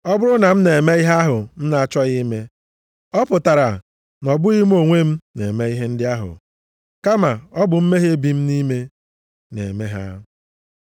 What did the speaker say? Ọ bụrụ na m na-eme ihe ahụ m na-achọghị ime, ọ pụtara na ọ bụghị mụ onwe m na-eme ihe ndị ahụ. Kama ọ bụ mmehie bi nʼime m na-eme ha.